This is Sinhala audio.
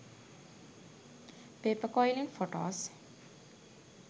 paper quilling photos